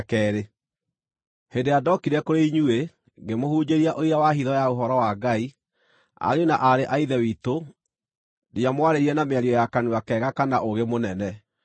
Hĩndĩ ĩrĩa ndookire kũrĩ inyuĩ, ngĩmũhunjĩria ũira wa hitho ya ũhoro wa Ngai, ariũ na aarĩ a Ithe witũ, ndiamwarĩirie na mĩario ya kanua kega kana ũũgĩ mũnene.